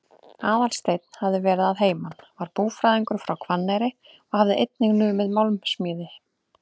Aðalsteinn hafði verið að heiman, var búfræðingur frá Hvanneyri og hafði einnig numið málmsmíði.